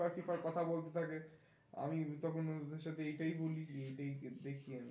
FIFA কথা বলতে থাকে আমি তখন সাথে এই টাই বলি যে